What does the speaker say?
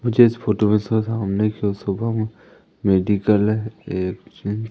मुझे इस फोटो में स सामने सो शुभम मेडिकल एक चे--